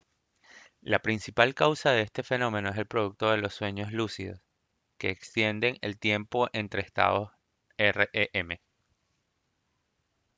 la principal causa de este fenómeno es el producto de los sueños lúcidos que extienden el tiempo entre estados rem